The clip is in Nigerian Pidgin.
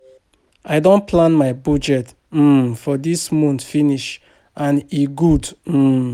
I don plan my budget um for dis month finish and e good um